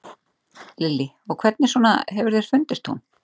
Lillý: Og hvernig svona hefur þér fundist hún?